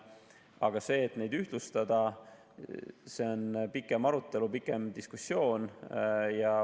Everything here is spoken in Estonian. Aga see, et neid ühtlustada, vajab pikemat arutelu, pikemat diskussiooni.